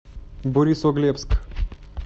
борисоглебск